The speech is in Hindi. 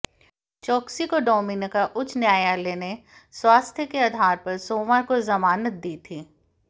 चोकसी को डोमिनिका उच्च न्यायालय ने स्वास्थ्य के आधार पर सोमवार को जमानत दी थी